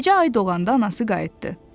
Gecə ay doğanda anası qayıtdı.